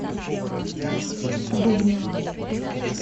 дубне